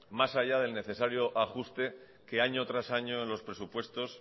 más allá del necesario ajuste que año tras año los presupuestos